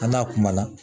A n'a kuma na